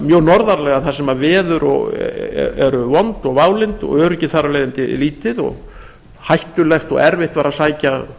mjög norðarlega þar sem veður eru vond og válynd og öryggi þar af leiðandi lítið og hættulegt og erfitt var að sækja